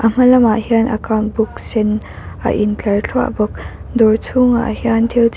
hma lamah hian account book sen a in tlar thluah bawk dawr chhhungah hian thil chi--